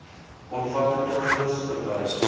omvattende gids verwys